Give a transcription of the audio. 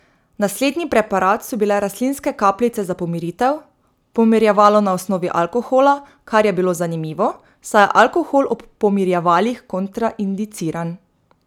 Naslednji preparat so bile rastlinske kapljice za pomiritev, pomirjevalo na osnovi alkohola, kar je bilo zanimivo, saj je alkohol ob pomirjevalih kontraindiciran.